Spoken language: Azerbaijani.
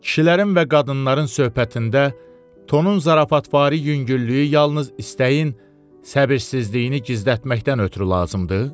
kişilərin və qadınların söhbətində tonun zarafatvari yüngüllüyü yalnız istəyin səbirsizliyini gizlətməkdən ötrü lazımdır?